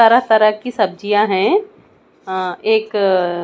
तरह तरह की सब्जियां हैं अह एक--